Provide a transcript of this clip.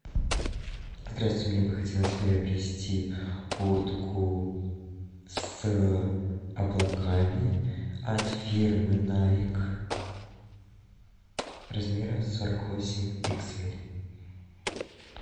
здравствуйте мне бы хотелось приобрести куртку с облаками от фирмы найк размера сорок восемь икс эль